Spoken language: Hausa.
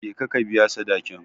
Je ka ka biya sadakin.